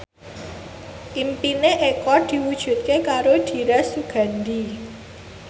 impine Eko diwujudke karo Dira Sugandi